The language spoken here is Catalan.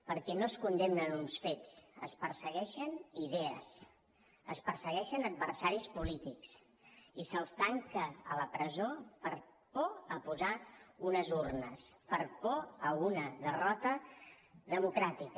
perquè no es condemnen uns fets es persegueixen idees es persegueixen adversaris polítics i se’ls tanca a la presó per por a posar unes urnes per por a una derrota democràtica